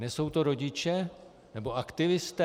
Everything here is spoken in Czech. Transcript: Nesou to rodiče, nebo aktivisté?